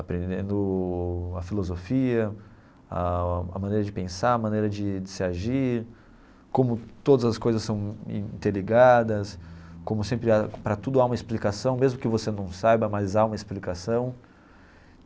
aprendendo a filosofia, ah a maneira de pensar, a maneira de de se agir, como todas as coisas são interligadas, como sempre há para tudo há uma explicação, mesmo que você não saiba, mas há uma explicação.